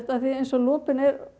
eins og lopinn